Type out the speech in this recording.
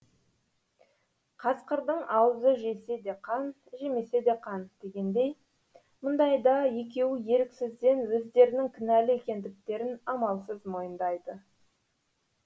касқырдың аузы жесе де қан жемесе де қан дегендей мұндайда екеуі еріксізден өздерінің кінәлі екендіктерін амалсыз мойындайды